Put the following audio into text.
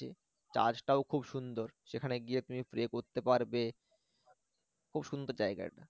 charch টাও খুব সুন্দর সেখানে গিয়ে তুমি pray করতে পারবে খুব সুন্দর জায়গা এটা